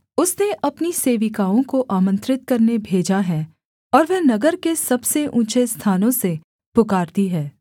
उसने अपनी सेविकाओं को आमन्त्रित करने भेजा है और वह नगर के सबसे ऊँचे स्थानों से पुकारती है